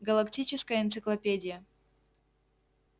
галактическая энциклопедия